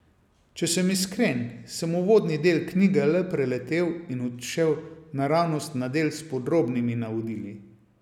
Če sem iskren, sem uvodni del knjige le preletel in odšel naravnost na del s podrobnimi navodili.